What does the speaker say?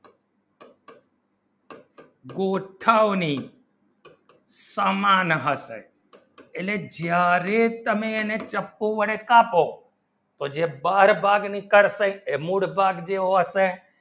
કોઠાની સમાન હશે અને જ્યારે તમે એને ચાકકુ ને કાપો તો જે બાર બાર નીકળતાંય એ mood બાર ભી હોંશે